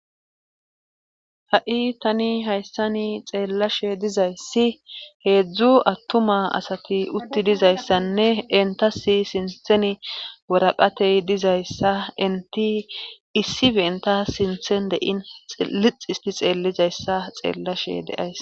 ha7i tani hayssani xeellashe dizayssi heedzdzu attuma asati utti dizayssanne entasi sinthen woraqatey dizayssa enti issi benta sinthen dein lixisti xeellizayssa xeellashe deays